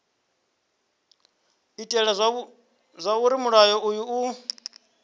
itela zwauri mulayo uyu u